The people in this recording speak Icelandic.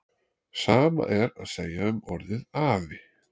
Sama er að segja um orðið afi.